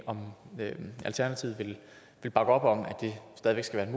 om alternativet vil bakke op om at det stadig